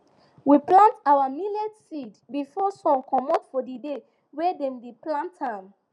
we plant our millet seed before sun comot for di day wey dem dey plant am